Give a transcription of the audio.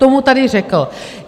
To mu tady řekl.